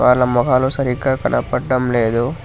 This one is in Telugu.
వాళ్ళ మోకాలు సరిగా కనబడడం లేదు.